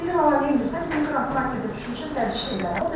Dedim ana neyləyirsən, dedi raketə düşmüşəm vəzifələrini.